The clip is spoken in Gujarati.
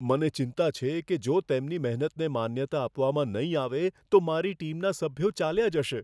મને ચિંતા છે કે જો તેમની મહેનતને માન્યતા આપવામાં નહીં આવે તો મારી ટીમના સભ્યો ચાલ્યા જશે.